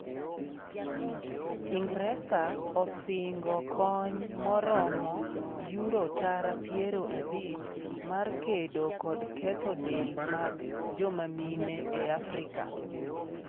Ingresa osingo kony maromo Yuro tara piero abich mar kedo kod ketho del mag joma mine e Afrika